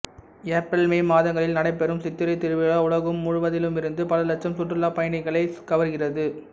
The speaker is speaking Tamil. ஏப்ரல் மே மாதங்களில் நடைபெறும் சித்திரைத் திருவிழா உலகும் முழுவதிலுமிருந்து பல இலட்சம் சுற்றுலா பயணிகளைக் கவர்கிறது